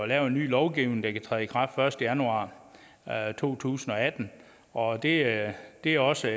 lavet en ny lovgivning der kan træde i kraft den første januar to tusind og atten og det er det er også